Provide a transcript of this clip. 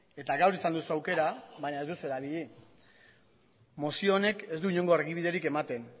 eta gaur izan duzu aukera baina ez duzu erabili mozio honek ez du inongo argibiderik ematen